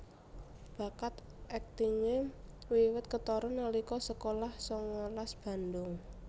Bakat aktingé wiwit ketara nalika sekolah sangalas Bandung